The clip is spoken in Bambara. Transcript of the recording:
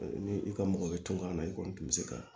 Ni i ka mɔgɔ bɛ to a la i kɔni tun bɛ se ka